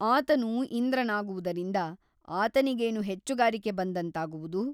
ಆತನು ಇಂದ್ರನಾಗುವುದರಿಂದ ಆತನಿಗೇನು ಹೆಚ್ಚುಗಾರಿಕೆ ಬಂದಂತಾಗುವುದು ?